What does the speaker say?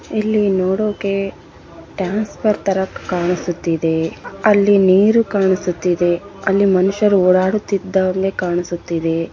ಇಲ್ಲಿ ನೋಡೋಕೆ ಟ್ರಾನ್ಸ್‌ಫರಂ ತರಾ ಕಾಣಿಸುತ್ತಿದೆ ಅಲ್ಲಿ ನೀರು ಕಾಣಿಸುತ್ತಿದೆ ಅಲ್ಲಿ ಮನುಷ್ಯರು ಓಡಾಡುತ್ತಿರುವುದು ಕಾಣಿಸುತ್ತಿದೆ.